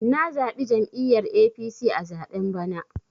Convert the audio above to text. Na zaɓi jam'iyyar APC a zaɓen bana.